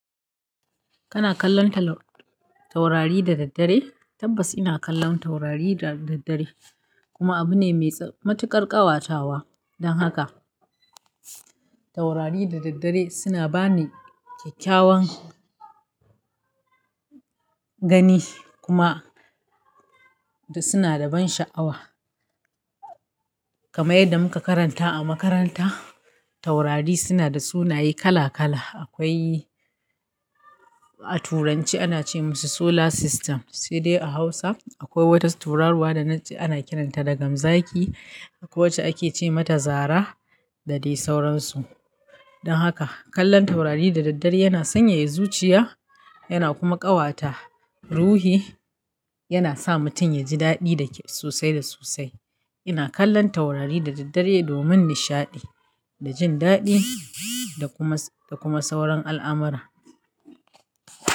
Kana kallon taurari da daddare? Tabbas ina kallon taurari da daddare, kuma abu ne mai matuƙar ƙawatawa. Don haka, taurari da daddare suna bani kyakkyawan gani kuma suna da ban sha'awa. Kamar yadda muka karanta a makaranta, taurari suna da sunaye kala-kala. Akwai a Turance ana ce musu solar system, sai dai a Hausa akwai wata tauraruwa da na ji ana kiranta da gamzaki, akwai wacce ake ce mata zara da dai sauransu. Don haka, kallon taurari da daddare yana sanyaya zuciya, yana kuma ƙawata ruhi, yana sa mutum ya ji daɗi sosai da sosai. Ina kallon taurari da daddare domin nishaɗi da jin daɗi da kuma sauran al'amara.